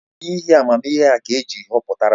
Ọ bụ n’ihi amamihe ya ka eji họpụtara ya?